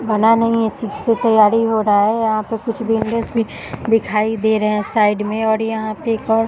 बना नहीं है ठीक से तैयारी हो रहा है यहाँ पे कुछ बिल्डर्स भी दिखाई दे रहे है साइड में और यहाँ पे एक और --